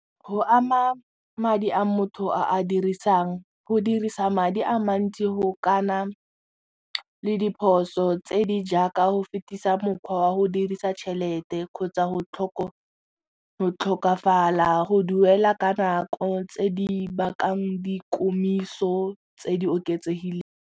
Go ama madi a motho a a dirisang go dirisa madi a mantsi go kana le diphoso tse di jaaka go fetisa mokgwa wa go dirisa tšhelete kgotsa go go tlhokafala go duela ka nako tse di bakang di komiso tse di oketsegileng.